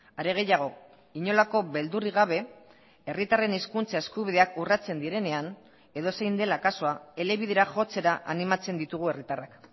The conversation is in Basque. are gehiago inolako beldurrik gabe herritarren hizkuntza eskubideak urratzen direnean edozein dela kasua elebidera jotzera animatzen ditugu herritarrak